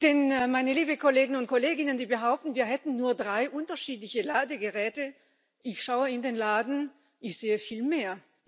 Denn, meine lieben Kollegen und Kolleginnen, die behaupten, wir hätten nur drei unterschiedliche Ladegeräte, ich schaue in den Laden und sehe viel mehr.